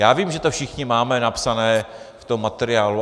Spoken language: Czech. Já vím, že to všichni máme napsané v tom materiálu.